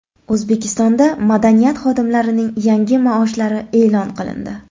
O‘zbekistonda madaniyat xodimlarining yangi maoshlari e’lon qilindi.